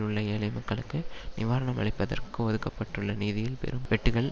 உள்ள ஏழை மக்களுக்கு நிவாரணம் அளிப்பதற்கு ஒதுக்கப்பட்டுள்ள நிதியில் பெரும் வெட்டுக்கள்